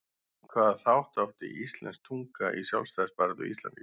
Hvaða þátt átti íslensk tunga í sjálfstæðisbaráttu Íslendinga?